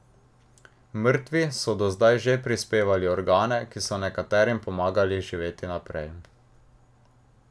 Mrtvi so do zdaj že prispevali organe, ki so nekaterim pomagali živeti naprej.